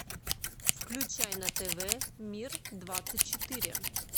включай на тв мир двадцать четыре